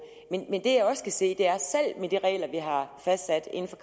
men det jeg også kan se er at med de regler vi har